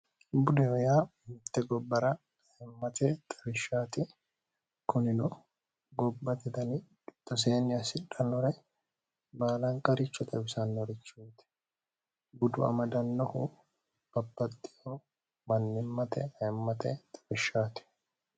budeo yaa mitte gobbara aimmate xawishshaati kunilo gobbate tani itoseenni assidhannore baalanqaricho xabisannorichuuti budu amadannohu bapaxxihoo bannimmate aimmate xabishshaati